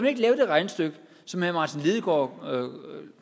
ikke lave det regnestykke som herre martin lidegaard